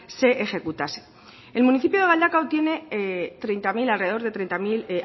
se ejecutasen el municipio de galdakao tiene alrededor de treinta mil